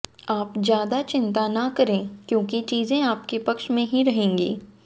आप ज्यादा चिंता न करें क्योंकि चीजें आपके पक्ष में ही रहेंगी